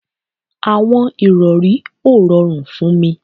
Àwọn ìrọri ó rọrùn fún mí